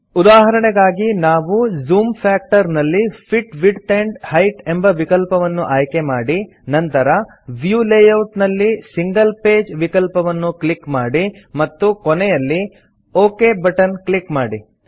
ಉದಾಹರಣೆಗಾಗಿ ನಾವು zoom factor ನಲ್ಲಿ ಫಿಟ್ ವಿಡ್ತ್ ಆಂಡ್ ಹೈಟ್ ಎಂಬ ವಿಕಲ್ಪವನ್ನು ಆಯ್ಕೆಮಾಡಿ ನಂತರ ವ್ಯೂ ಲೇಯೌಟ್ ನಲ್ಲಿ ಸಿಂಗಲ್ ಪೇಜ್ ವಿಕಲ್ಪವನ್ನು ಕ್ಲಿಕ್ ಮಾಡಿ ಮತ್ತು ಕೊನೆಯಲ್ಲಿ ಒಕ್ ಬಟನ್ ಕ್ಲಿಕ್ ಮಾಡಿ